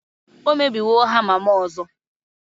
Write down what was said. o mebiwo hama'm ọzọ